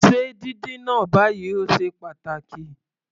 Se díndín náà báyìí, o ṣe pàtàkì.